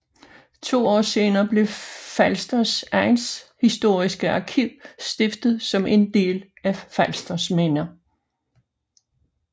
To år senere blev Falsters Egnshistoriske Arkiv stiftet som en del af Falsters Minder